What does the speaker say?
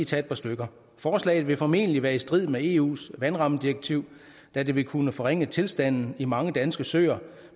tage et par stykker forslaget vil formentlig være i strid med eus vandrammedirektiv da det vil kunne forringe tilstanden i mange danske søer